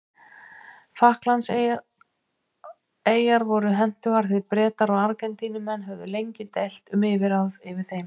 Falklandseyjar voru hentugar því Bretar og Argentínumenn höfðu lengi deilt um yfirráð yfir þeim.